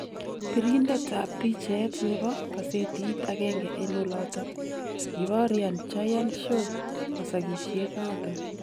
Birindet ab picheet nebo kaseetit agenge en oloton , kibaoryan Jayant Shaw masakisyeet noton .